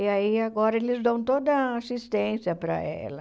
E aí agora eles dão toda a assistência para ela.